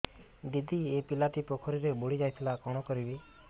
ଦିଦି ଏ ପିଲାଟି ପୋଖରୀରେ ବୁଡ଼ି ଯାଉଥିଲା କଣ କରିବି